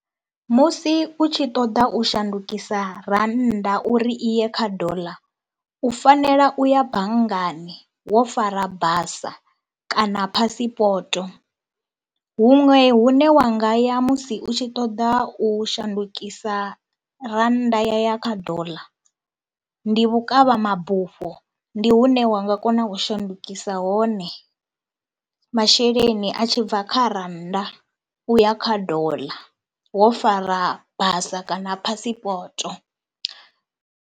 Musi u tshi ṱoḓa u shandukisa rannda uri i ye kha doḽa u fanela u ya banngani wo fara basa kana phasipoto, huṅwe hune wa nga ya musi u tshi ṱoḓa u shandukisa rannda ya ya kha doḽa ndi vhukavha mabufho, ndi hune wa nga kona u shandukisa hone masheleni a tshi bva kha rannda uya kha doḽa wo fara basa kana phasipoto.